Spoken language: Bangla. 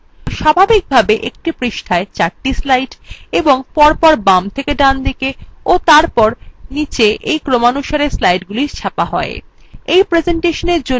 স্বাভাবিকভাবে একটি পৃষ্ঠায় চারটি slides এবং পরপর by থেকে ডানদিকে ও তারপর নীচেby ক্রমানুসারে স্লাইডগুলি ছাপা হয় by প্রেসেন্টেশনের জন্য এগুলি অপরিবর্তিত রাখুন